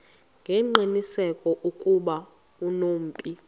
ngengqiniseko ukuba unobomi